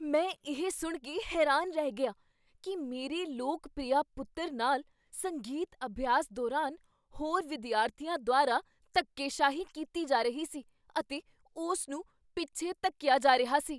ਮੈਂ ਇਹ ਸੁਣ ਕੇ ਹੈਰਾਨ ਰਹਿ ਗਿਆ ਕੀ ਮੇਰੇ ਲੋਕ ਪ੍ਰਿਆ ਪੁੱਤਰ ਨਾਲ ਸੰਗੀਤ ਅਭਿਆਸ ਦੌਰਾਨ ਹੋਰ ਵਿਦਿਆਰਥੀਆਂ ਦੁਆਰਾ ਧੱਕੇਸ਼ਾਹੀ ਕੀਤੀ ਜਾ ਰਹੀ ਸੀ ਅਤੇ ਉਸ ਨੂੰ ਪਿੱਛੇ ਧੱਕੀਆ ਜਾ ਰਿਹਾ ਸੀ।